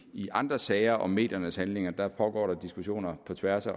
i andre sager om mediernes handlinger pågår diskussioner på tværs af